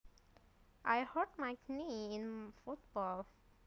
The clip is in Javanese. I hurt my knee in football